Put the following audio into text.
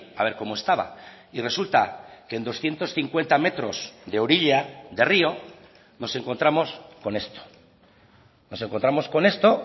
a ver cómo estaba y resulta que en doscientos cincuenta metros de orilla de rio nos encontramos con esto nos encontramos con esto